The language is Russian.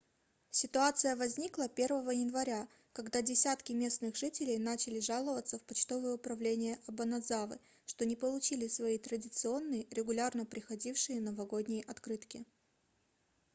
ситуация возникла 1 января когда десятки местных жителей начали жаловаться в почтовое управление обанадзавы что не получили свои традиционные регулярно приходившие новогодние открытки